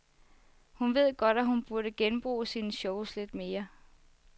Hun ved godt, at hun burde genbruge sine shows lidt mere.